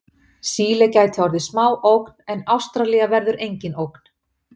Síle gæti orðið smá ógn en Ástralía verður engin ógn.